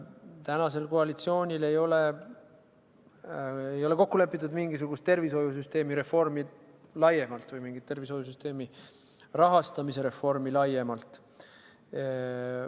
Tänasel koalitsioonil ei ole kokku lepitud mingisugust tervishoiusüsteemi reformi laiemalt või mingit tervishoiusüsteemi rahastamise reformi laiemalt.